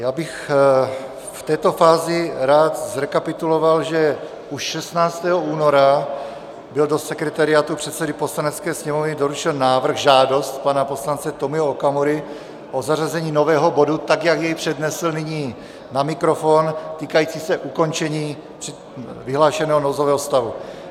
Já bych v této fázi rád zrekapituloval, že už 16. února byl do sekretariátu předsedy Poslanecké sněmovny doručen návrh - žádost pana poslance Tomia Okamury o zařazení nového bodu, tak jak jej přednesl nyní na mikrofon, týkající se ukončení vyhlášeného nouzového stavu.